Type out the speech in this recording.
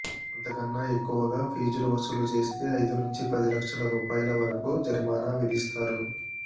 అంతకన్నా ఎక్కువగా ఫీజులు వసూలు చేస్తే ఐదునుంచి పది లక్షల రూపాయల వరకు జరిమానా విధిస్తారు